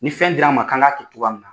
Ni fɛn dir'an ma k'an ka kɛ togoya min na